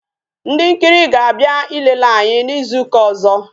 Ndị nkiri ga abịa ilele anyị n'izu ụka ọzọ